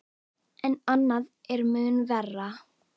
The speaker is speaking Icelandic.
En annað er mun verra.